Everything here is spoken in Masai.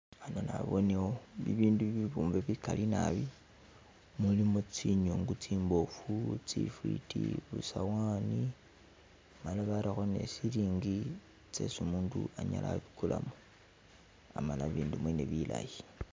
Hano nabonewo bibindu bibumbe bili bigali naabi mulimo zinyungu zimbofu, zifiti, zisawani male barakho ni silingi zesi umundu anyala wabigulamo amala bindu mwene bilayi.